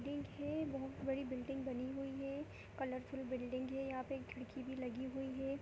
देखिये बहुत बड़ी बिल्डिंग बनी हुई है। कलरफुल है। यहां पे खिड़की भी लगी हुई है।